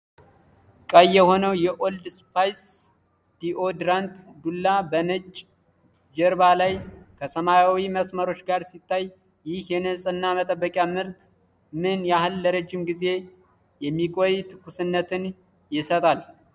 ቀይ የሆነው የኦልድ ስፓይስ ዲኦድራንት ዱላ በነጭ ጀርባ ላይ ከሰማያዊ መስመሮች ጋር ሲታይ፣ ይህ የንጽህና መጠበቂያ ምርት ምን ያህል ለረጅም ጊዜ የሚቆይ ትኩስነትን ይሰጣል?